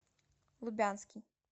лубянский